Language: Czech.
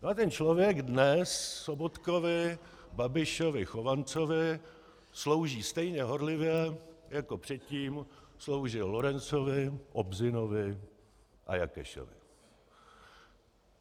No a ten člověk dnes Sobotkovi, Babišovi, Chovancovi, slouží stejně horlivě, jako předtím sloužil Lorencovi, Obzinovi a Jakešovi.